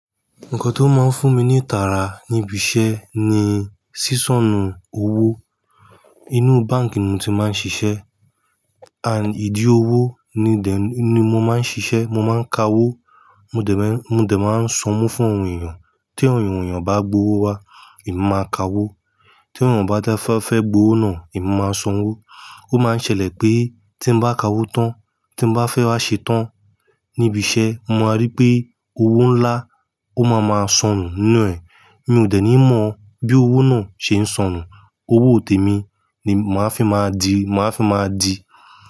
Ǹkan tó máa ń fún mi ní ìtara níbi iṣẹ́ ni sísọ̀nù owó. Inú báǹkì ni mo ti máa ń ṣiṣẹ́. And, ìdí owó ni then, ni mo máa ń ṣiṣẹ́. Mo máa ń ka owó, mo dè máa n mo dè máa ń sanwó fún àwọn èèyàn. Tí àwọn èèyàn bá gbe owó wá, èmi ma kawó. Tí àwọn eyan bà dáfa fẹ́ gba owó náà, èmi máa sanwó. Ó máa ń ṣẹlẹ̀ pé tí mo bá ka owó tán, tí mo bá fẹ́ wá ṣe tán níbi iṣẹ́, mo máa rí pé owó ńlá, ó máa ma sonù nínú ẹ̀. Mi ò dẹ̀ ní mọ̀ bí owó náà ṣe ń sonù. Owó tèmi ni màá fi máa di, màá fi máa di.